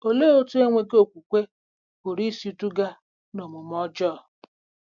Olee otú enweghị okwukwe pụrụ isi duga n'omume ọjọọ?